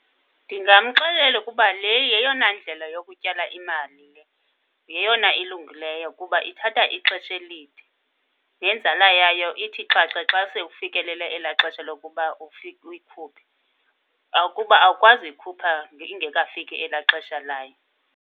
Ndingamxelela ukuba le yeyona ndlela yokutyala imali le, yeyona ilungileyo kuba ithatha ixesha elide. Nenzala yayo ithi xhaxhe xa sewufikelele elaa xesha lokuba uyikhuphe. Kuba awukwazi uyikhupha ingekafiki elaa xesha layo.